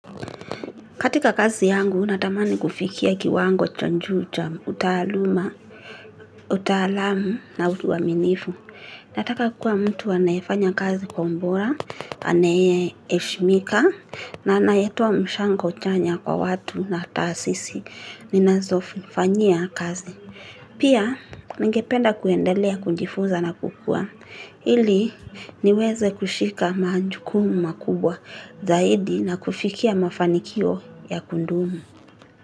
Katika kazi yangu natamani kufikia kiwango cha njuu cha utaaluma, utaalamu na utuwaminifu. Nataka kuwa mtu anayefanya kazi kwa umbora, anaye eshmika, na anayetoa mshango chanya kwa watu na tasisi. Ninazofanyia kazi. Pia, ningependa kuendelea kunjifuza na kukua. Ili niweze kushika maanjukumu makubwa zaidi na kufikia mafanikio ya kundumu.